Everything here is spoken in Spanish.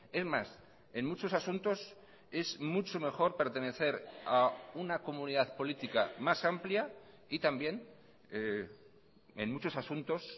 es más en muchos asuntos es mucho mejor pertenecer a una comunidad política más amplia y también en muchos asuntos